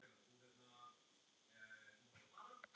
að þú skulir láta svona.